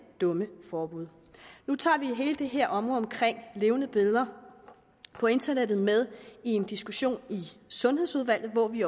dumme forbud nu tager vi hele det her område omkring levende billeder på internettet med i en diskussion i sundhedsudvalget og vi